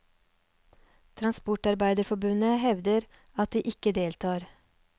Transportarbeiderforbundet hevder at de ikke deltar.